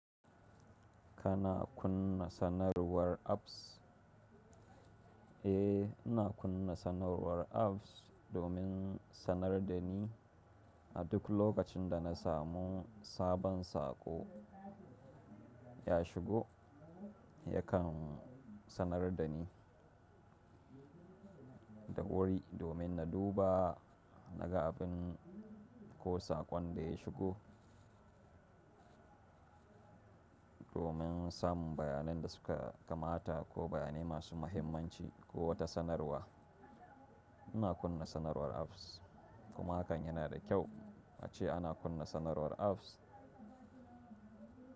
Kana kunna sanarwar apps? Eh, ina kunna sanarwar apps domin sanar da ni a duk lokacin da na samu sabon saƙo ya shigo yakan sanar da ni da wuri domin na duba na ga abin ko saƙon da ya shigo. Domin samun bayanan da suka kamata ko bayanai masu muhimmanci ko wata sanarwa. Ina kunna sanarwar apps kuma hakan yana da kyau ace ana kunna sanarwar apps.